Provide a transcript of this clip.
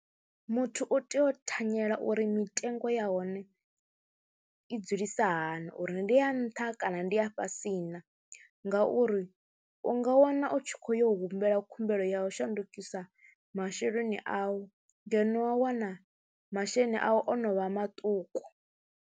Muthu u tea u thanyela uri mitengo ya hone i dzulisa hani, uri ndi ya nṱha kana ndi a fhasi na ngauri u nga wana u tshi khou yo humbela khumbelo ya u shandukisa masheleni au ngeno wa wana masheleni au o no vha maṱuku.